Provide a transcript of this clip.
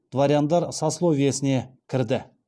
дворяндар сословиесіне кірді